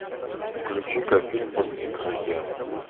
включи ка фильм под прикрытием